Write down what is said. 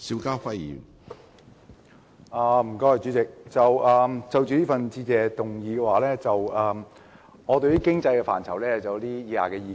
主席，就着這項致謝議案，我對於經濟範疇有以下意見。